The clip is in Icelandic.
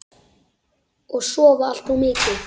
Og sofa allt of mikið.